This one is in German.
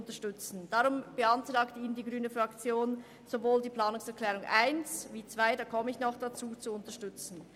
Deswegen beantragt Ihnen die grüne Fraktion, sowohl die Planungserklärung 1 als auch die Planungserklärung 2, zu der ich noch kommen werde, zu unterstützen.